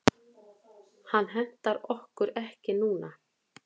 Hann hentar okkur ekki núna.